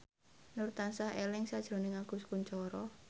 Nur tansah eling sakjroning Agus Kuncoro